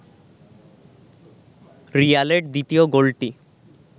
রিয়ালের দ্বিতীয় গোলটি